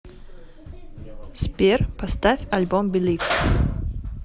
сбер поставь альбом белив